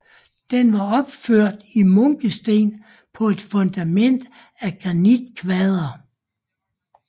Den var opført i munkesten på et fundament af granitkvadre